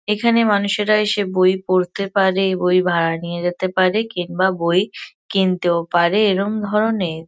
এখানে মানুষেরা এসে বই পড়তে পারে বই ভাড়া নিয়ে যেতে পারে কিংবা বই কিনতেও পারে। এরম ধরনের--